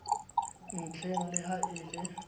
ntlheng le ha e le